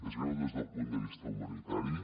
és greu des del punt de vista humanitari